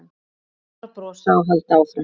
Bara brosa og halda áfram.